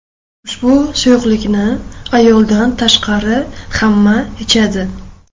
Ushbu suyuqlikni ayoldan tashqari hamma ichadi.